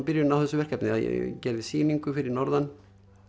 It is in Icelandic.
byrjunin á þessu verkefni ég gerði sýningu fyrir norðan